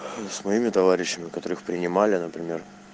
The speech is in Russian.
своими товарищами которых принимали например